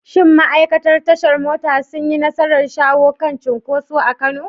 Shin ma’aikatan tashar mota sun yi nasarar shawo kan cunkoso a Kano?